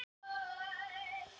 Það veit ég ekki.